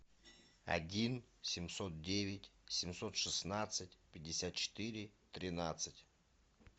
один семьсот девять семьсот шестнадцать пятьдесят четыре тринадцать